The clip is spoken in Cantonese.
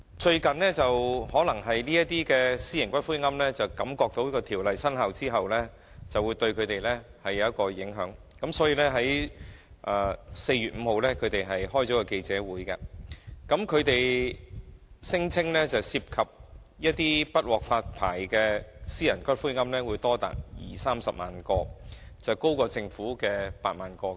最近，由於一些私營龕場的經營者預計《條例草案》生效後會對他們構成影響，於是便在4月5日召開記者會，聲稱不獲發牌的私營龕場的龕位將多達二三十萬個，高於政府估計的8萬個。